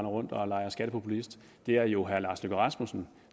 rundt og leger skattepopulist det er jo herre lars løkke rasmussen